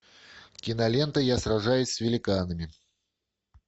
кинолента я сражаюсь с великанами